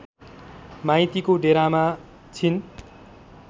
माइतीको डेरामा छिन्